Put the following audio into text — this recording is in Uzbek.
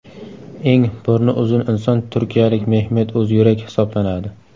Eng burni uzun inson turkiyalik Mehmet O‘zyurek hisoblanadi.